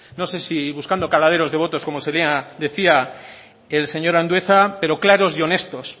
no sé si buscando caladeros de votos como decía el señor andueza pero claros y honestos